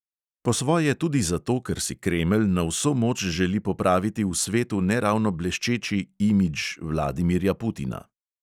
Po svoje tudi zato, ker si kremelj na vso moč želi popraviti v svetu ne ravno bleščeči "imidž" vladimirja putina.